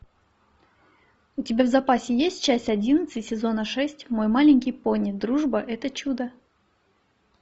у тебя в запасе есть часть одиннадцать сезона шесть мой маленький пони дружба это чудо